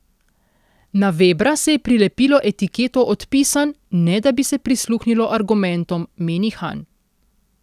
Na Vebra se je prilepilo etiketo Odpisan, ne da bi se prisluhnilo argumentom, meni Han.